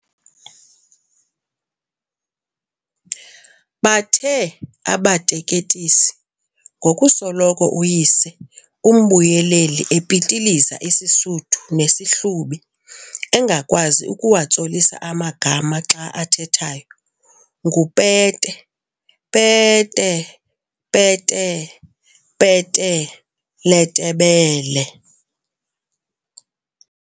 Bathe abateketisi ngokusoloko uyise umbuyeleli epitiliza isiSuthu nesiHlubi engakwazi ukuwatsolisa amagama xa athethayo, nguPete-"Peete-pete-pete le Tebele."